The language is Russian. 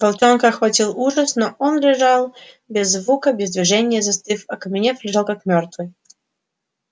волчонка охватил ужас но он лежал без звука без движения застыв окаменев лежал как мёртвый